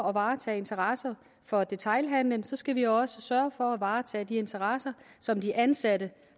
at varetage interesser for detailhandelen skal vi også sørge for at varetage de interesser som de ansatte